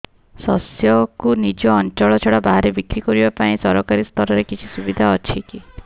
ଶସ୍ୟକୁ ନିଜ ଅଞ୍ଚଳ ଛଡା ବାହାରେ ବିକ୍ରି କରିବା ପାଇଁ ସରକାରୀ ସ୍ତରରେ କିଛି ସୁବିଧା ଅଛି କି